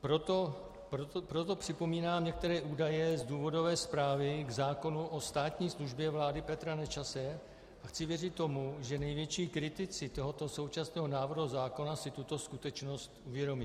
Proto připomínám některé údaje z důvodové zprávy k zákonu o státní službě vlády Petra Nečase a chci věřit tomu, že největší kritici tohoto současného návrhu zákona si tuto skutečnost uvědomí.